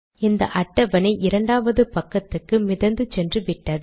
இந்த அட்டவணை இரண்டாவது பக்கத்துக்கு மிதந்து சென்றுவிட்டது